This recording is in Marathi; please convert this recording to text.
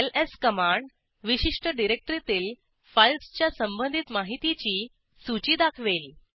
एलएस कमांड विशिष्ट डिरेक्टरीतील फाईल्सच्या संबंधित माहितीची सूची दाखवेल